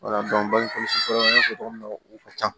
bangekɔlɔsi fɛɛrɛ min na u ka ca